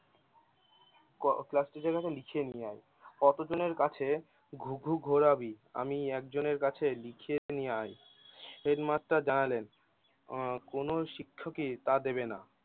ক ক্লাসটি বিছিয়ে নিয়ে কতজনের কাছে ঘু ঘু ঘুরাবি আমি একজনের কাছে লিখে নিয়ে আয় হেডমাস্টার জানালেন আহ কোনো শিক্ষকই তা দেবে না